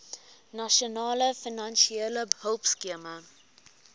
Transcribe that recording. nasionale finansiële hulpskema